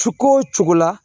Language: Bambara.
Suko cogo la